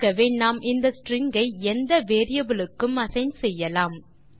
ஆகவே நாம் இந்த ஸ்ட்ரிங் ஐ எந்த வேரியபிள் க்கும் அசைன் செய்யலாம்